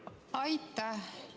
Aitäh!